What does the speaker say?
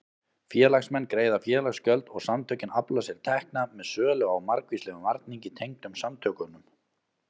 Félagsmenn greiða félagsgjöld og samtökin afla sér tekna með sölu á margvíslegum varningi tengdum samtökunum.